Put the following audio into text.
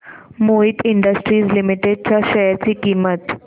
Mohit industries limited च्या share ची किंमत